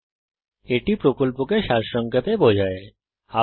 এটি কথ্য টিউটোরিয়াল প্রকল্পকে সংক্ষেপে বিবরণ করে